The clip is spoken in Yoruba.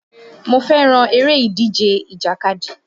Mo fẹ́ràn eré ìdíje ìjàkadì